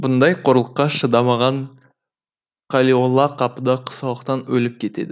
бұндай қорлыққа шыдамаған қалиолла қапыда құсалықтан өліп кетеді